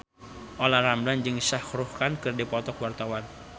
Olla Ramlan jeung Shah Rukh Khan keur dipoto ku wartawan